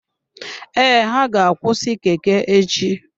Ee, ha ga-akwụsị Keke echi.